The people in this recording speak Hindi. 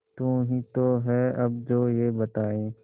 तू ही तो है अब जो ये बताए